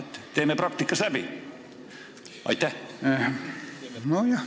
Teeme selle praktikas läbi!